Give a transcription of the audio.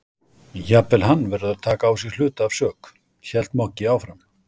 Jafnvel hann verður að taka á sig hluta af sök, hélt Moggi áfram.